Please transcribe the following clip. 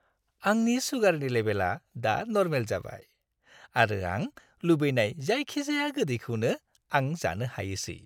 आंनि सुगारनि लेबेलआ दा नर्माल जाबाय आरो आं लुबैनाय जायखिजाया गोदैखौनो आं जानो हायोसै।